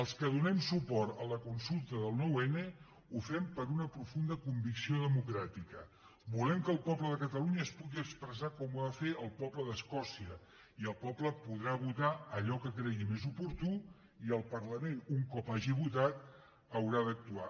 els que donem suport a la consulta del nou n ho fem per una profunda convicció democràtica volem que el poble de catalunya es pugui expressar com ho va fer el poble d’escòcia i el poble podrà votar allò que cregui més oportú i el parlament un cop hagi votat haurà d’actuar